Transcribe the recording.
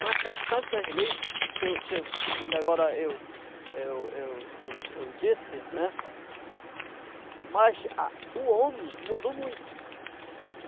Com essas tantas leis que eu disse, mas o homem mudou muito.